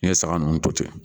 N ye saga ninnu to ten